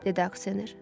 Dedi aksioner.